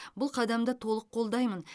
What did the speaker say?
бұл қадамды толық қолдаймын